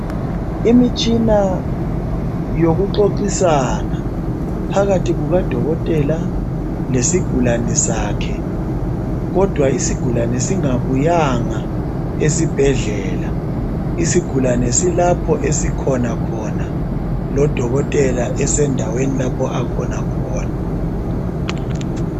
Imitshina yokuxoxisana phakathi kukadokotela lesigulane sakhe kodwa isigulane singabuyanga esibhedlela silapho esikhona khona lodokotela ulapho akhona khona.